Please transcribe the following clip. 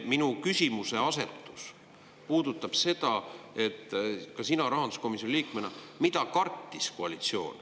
Minu küsimuse asetus puudutab seda – sina rahanduskomisjoni liikmena –, et mida kartis koalitsioon.